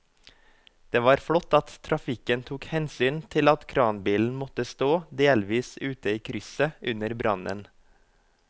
Det var flott at trafikken tok hensyn til at kranbilen måtte stå delvis ute i krysset under brannen.